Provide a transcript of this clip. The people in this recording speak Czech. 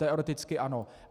Teoreticky ano.